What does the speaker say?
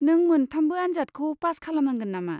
नों मोनथामबो आनजादखौ पास खालामनांगोन नामा?